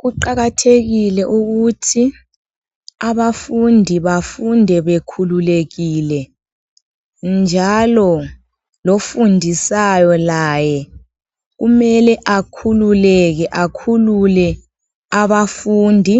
Kuqakathekile ukuthi abafundi bafunde bekhululekile njalo lofundisayo laye kumele akhululeke akhulule abafundi,